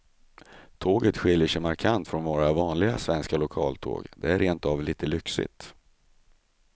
Tåget skiljer sig markant från våra vanliga svenska lokaltåg, det är rent av lite lyxigt.